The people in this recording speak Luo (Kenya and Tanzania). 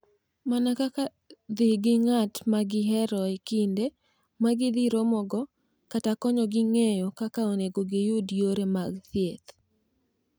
Mana kaka dhi gi ng’at ma gihero e kinde ma gidhi romogo kata konyogi ng’eyo kaka onego giyud yore mag thieth.